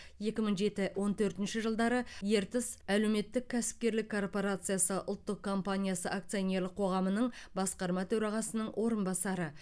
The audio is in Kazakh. екі мың жеті он төртінші жылдары ертіс әлеуметтік кәсіпкерлік корпорациясы ұлттық компаниясы акционерлік қоғамының басқарма төрағасының орынбасары